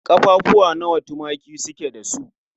Ƙaffafuwa nawa tumaki su ke da su?